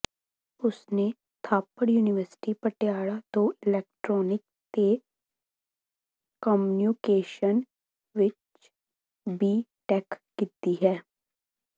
ਉਸਨੇ ਥਾਪੜ ਯੂਨੀਵਰਸਿਟੀ ਪਟਿਆਲਾ ਤੋਂ ਇਲੈਕਟ੍ਰੋਨਿਕ ਤੇ ਕਮਿਊਨੀਕੇਸ਼ਨ ਵਿੱਚ ਬੀ ਟੈਕ ਕੀਤੀ ਹੈ